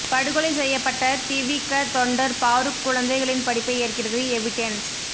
படுகொலை செய்யப்பட்ட திவிக தொண்டர் பாரூக் குழந்தைகளின் படிப்பை ஏற்கிறது எவிடென்ஸ்